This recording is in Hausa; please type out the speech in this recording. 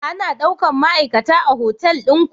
Ana daukan ma'aikata a hotal ɗin ku?